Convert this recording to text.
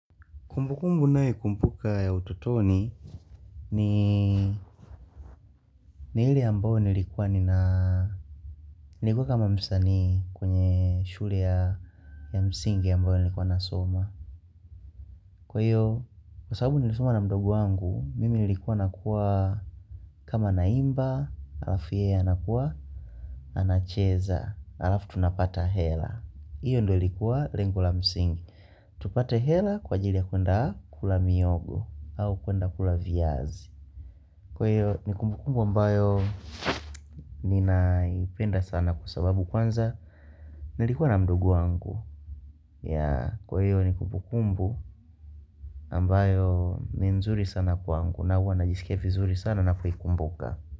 Kumbukumbu ninayo kumbuka ya utotoni ni ilie ambayo nilikuwa kama msaani kwenye shule ya msingi ambayo nilikuwa nasoma. Kwa iyo, kwa sababu nilisoma na mdogo wangu, mimi nilikuwa nakuwa kama na imba, alafu yeye anakuwa, anacheza, alafu tunapata hela. Hiyo ndo ilikuwa lengo la msingi. Tupate hela kwa ajili ya kwenda kula mihogo au kwenda kula viazi. Kwa hiyo ni kumbukumbu ambayo ninaipenda sana kwa sababu kwanza nilikuwa na mdogo wangu Kwa hiyo ni kumbukumbu ambayo ni nzuri sana kwangu na huwa najisikia vizuri sana ninapoikumbuka.